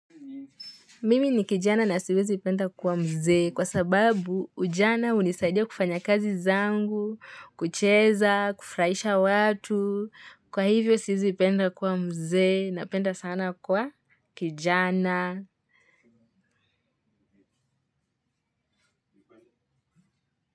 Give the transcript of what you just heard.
Mimi ni kijana na siwezi ipenda kuwa mzee kwa sababu ujana unisaidia kufanya kazi zangu, kucheza, kufraisha watu, kwa hivyo siwezi ipenda kuwa mzee napenda sana kuwa kijana.